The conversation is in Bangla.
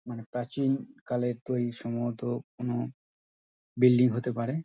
মানে প্রাচীনকালেতেই সম্ভবত কোন বিল্ডিং হতে পারে।